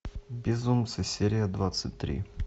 безумцы серия двадцать три